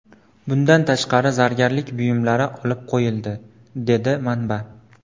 Bundan tashqari, zargarlik buyumlari olib qo‘yildi”, dedi manba.